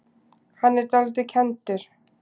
Hann er dálítið kenndur.